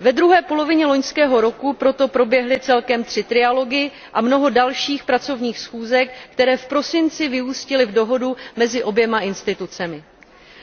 Ve druhé polovině loňského roku proto proběhly celkem tři trialogy a mnoho dalších pracovních schůzek, které v prosinci vyústily v dohodu mezi oběma institucemi.